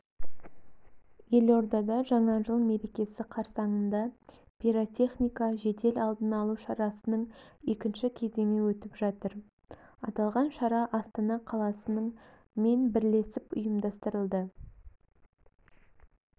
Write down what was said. елордада жаңа жыл мерекесі қарсаңында пиротехника жедел алдын алу шарасының екінші кезеңі өтіп жатыр аталған шара астана қаласының мен бірлесіп ұйымдастырылды